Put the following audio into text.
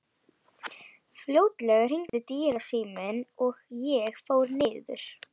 Fljótlega hringdi dyrasíminn og ég fór niður.